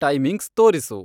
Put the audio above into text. timings ತೋರಿಸು